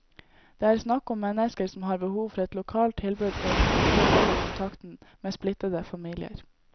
Det er snakk om mennesker som har behov for et lokalt tilbud for å kunne opprettholde kontakten med splittede familier.